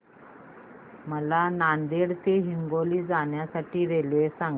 मला नांदेड ते हिंगोली जाण्या साठी रेल्वे सांगा